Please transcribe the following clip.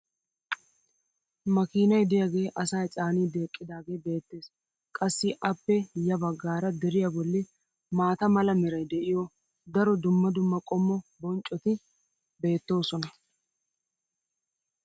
makiinay diyaagee asaa caaniidi eqqidaagee beetees. qassi appe ya bagaara deriya boli maata mala meray de'iyo daro dumma dumma qommo bonccoti beetoosona.